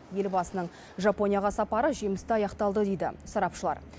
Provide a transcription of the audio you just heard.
елбасының жапонияға сапары жемісті аяқталды дейді сарапшылар